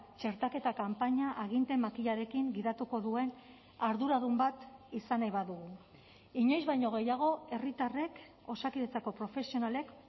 txertaketa kanpaina aginte makilarekin gidatuko duen arduradun bat izan nahi badugu inoiz baino gehiago herritarrek osakidetzako profesionalek